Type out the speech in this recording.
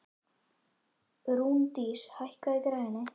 Rúndís, hækkaðu í græjunum.